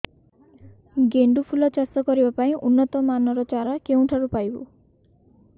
ଗେଣ୍ଡୁ ଫୁଲ ଚାଷ କରିବା ପାଇଁ ଉନ୍ନତ ମାନର ଚାରା କେଉଁଠାରୁ ପାଇବୁ